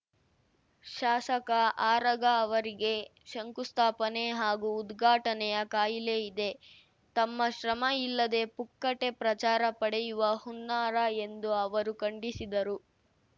ಶಾಸಕ ಆರಗ ಅವರಿಗೆ ಶಂಕುಸ್ಥಾಪನೆ ಹಾಗೂ ಉದ್ಘಾಟನೆಯ ಕಾಯಿಲೆ ಇದೆ ತಮ್ಮ ಶ್ರಮ ಇಲ್ಲದೆ ಪುಕ್ಕಟೆ ಪ್ರಚಾರ ಪಡೆಯುವ ಹುನ್ನಾರ ಎಂದು ಅವರು ಖಂಡಿಸಿದರು